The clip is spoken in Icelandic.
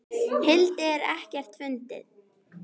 hildi en ekkert fundið.